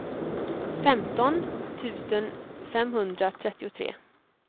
femton tusen femhundratrettiotre